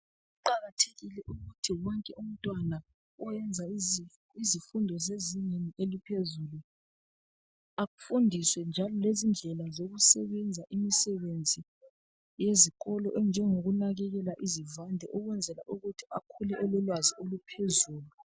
Kuqakathekile ukuthi wonke umntwana oyenza izifundo zezingeni eliphezulu, afundiswe njalo lezindlela zokusebenza imisebenzi yezikolo enjengokunakekela izivande ukwenzela ukuthi akhule elolwazi oluphezulu.